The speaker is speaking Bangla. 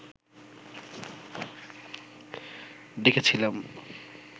ডেকেছিলাম